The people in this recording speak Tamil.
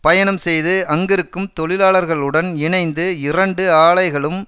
பயணம் செய்து அங்கிருக்கும் தொழிலாளர்களுடன் இணைந்து இரண்டு ஆலைகளும்